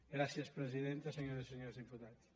gràcies presidenta senyores i senyors diputats